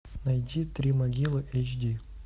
найти три могилы эйч ди